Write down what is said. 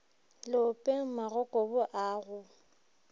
leopeng magokobu a a go